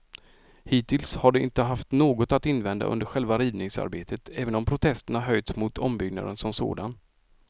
Hittills har de inte haft något att invända under själva rivningsarbetet, även om protester höjts mot ombyggnaden som sådan.